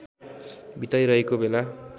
बिताइरहेको बेला